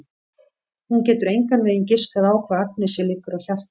Hún getur engan veginn giskað á hvað Agnesi liggur á hjarta.